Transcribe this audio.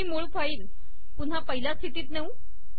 ही मूळ फाईल पुन्हा पहिल्या स्थितीत नेऊ